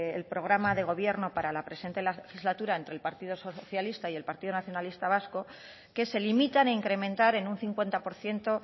el programa de gobierno para la presente legislatura entre el partido socialista y el partido nacionalista vasco que se limitan a incrementar en un cincuenta por ciento